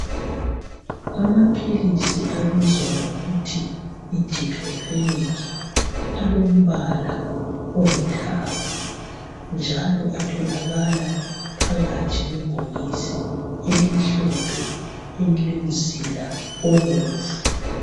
Amaphilisi abizwa ngokuthi yiDiclofenac alombala olithanga njalo atholakala phakathi kwebhokisi elimhlophe elilomzila obomvu.